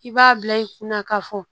I b'a bila i kunna ka fɔ